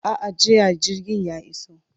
A'a, jiya jirgin ya iso.